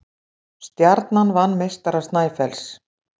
Stjarnan vann meistara Snæfells